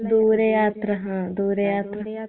ദൂര യാത്ര ൨ ദൂര യാത്ര